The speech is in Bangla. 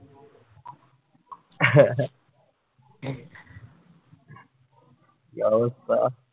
কি অবস্থা